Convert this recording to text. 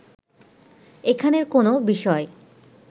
এখানের কোনো বিষয়